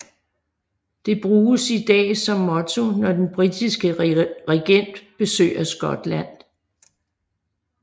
Det bruges i dag som motto når den britiske regent besøger Skotland